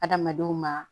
Adamadenw ma